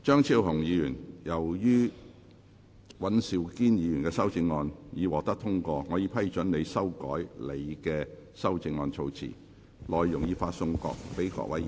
張超雄議員，由於尹兆堅議員的修正案獲得通過，我已批准你修改你的修正案措辭，內容已發送各位議員。